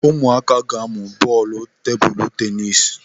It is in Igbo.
Ụmụaka ga-amụ bọọlụ tebụlu tenis.